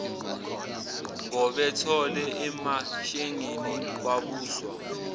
ngobethole emashengeni kwabuswa